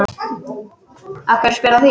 Af hverju spyrðu að því?